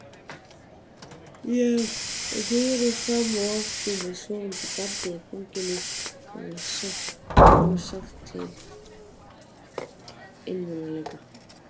Ég reri fram og aftur með sofandi barnið í fanginu og fann sárt til einmanaleika.